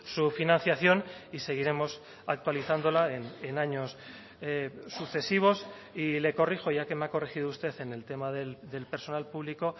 su financiación y seguiremos actualizándola en años sucesivos y le corrijo ya que me ha corregido usted en el tema del personal público